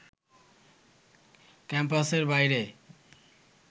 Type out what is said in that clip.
ক্যাম্পাসের বাইরে